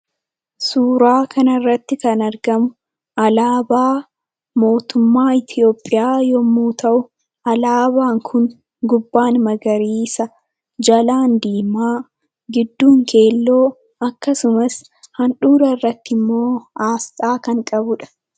Suuraa kanarratti kan argamu, alaabaa mootummaa Itoophiyaa yoo ta'u alaabaan kun gubbaan magariisa, jalaan diimaa, gidduun keelloo, akkasumas handhuura irratti asxaa kan qabuudha.